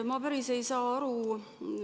Ma päris ei saa aru.